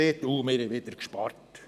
«Oh, wir haben wieder gespart.